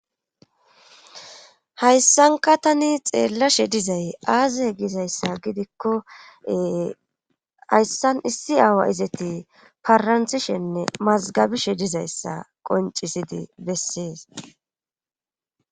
hayssanka tani xeellashe dizay aaze gizayssa gidikkoee hayssan issi aawa izeti faranthishenne mazgabishe dizayssa qoncisidi bessees